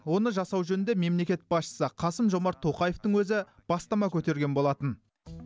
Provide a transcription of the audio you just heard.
оны жасау жөнінде мемлекет басшысы қасым жомарт тоқаевтың өзі бастама көтерген болатын